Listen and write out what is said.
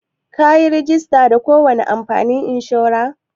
Ka yi rajista da ko wani kamfanin inshora?